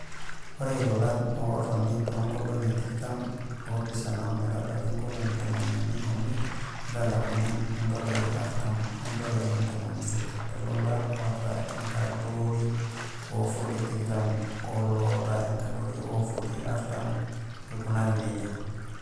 Oree ilolan ootoni toonkolongi tikita oopishan ometabaiki inkolongi tomon unii omiet neitalakuni indolai aartam oo dolai ntomoni isiet tolola oota enkadori oofutii tikitam oolotaa enkadori oofutii aartam eikunarii nejia.